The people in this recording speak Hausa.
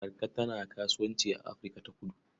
Marka tana kasuwanci a Afirka-ta-kudu.